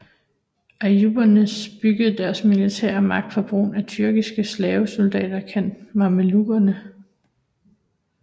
Ayyubiderne byggede deres militære magt på brugen af tyrkiske slavesoldater kaldt mamelukkerne